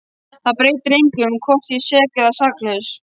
Það breytir engu um hvort ég er sek eða saklaus.